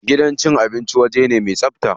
Gidan cin abinci waje ne me tsabta.